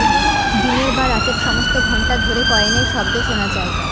দিনের বা রাতের সমস্ত ঘন্টা ধরে কয়েনের শব্দ শোনা যায়